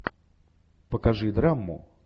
покажи драму